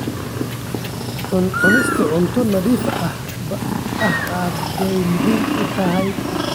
Cunista cunto nadiif ah aad bay muhiim u tahay.